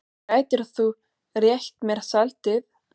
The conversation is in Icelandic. Gætirðu rétt mér saltið?